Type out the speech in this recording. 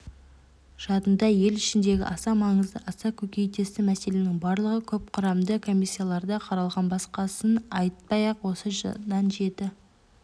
задында ел ішіндегі аса маңызды аса көкейтесті мәселенің барлығы көпқұрамды комиссияларда қаралған басқасын айтпай-ақ осыдан жеті